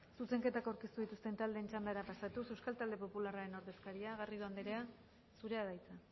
zuzenketak aurkeztu dituzten taldeen txandara pasatuz euskal talde popularren ordezkaria garrido anderea zurea da hitza